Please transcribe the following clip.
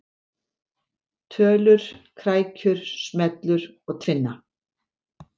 Tölur, krækjur, smellur og tvinna.